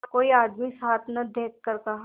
कोई आदमी साथ न देखकर कहा